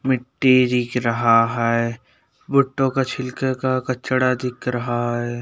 मिट्टी दिख रहा है भुट्टो के छिलके कचरा का दिख रहा है।